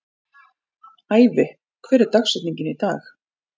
Ævi, hver er dagsetningin í dag?